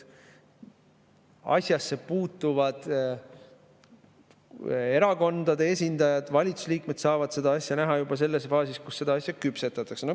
Asjasse puutuvad erakondade esindajad ja valitsuse liikmed saavad eelnõu näha juba selles faasis, kus seda alles küpsetatakse.